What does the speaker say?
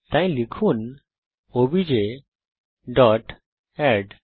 তাই লিখুন OBJ dot add